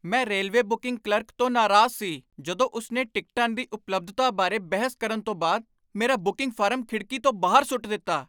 ਮੈਂ railway booking clerk ਤੋਂ ਨਾਰਾਜ਼ ਸੀ ਜਦੋਂ ਉਸ ਨੇ ਟਿਕਟਾਂ ਦੀ ਉਪਲਬਧਤਾ ਬਾਰੇ ਬਹਿਸ ਕਰਨ ਤੋਂ ਬਾਅਦ ਮੇਰਾ ਬੁਕਿੰਗ ਫਾਰਮ ਖਿੜਕੀ ਤੋਂ ਬਾਹਰ ਸੁੱਟ ਦਿੱਤਾ।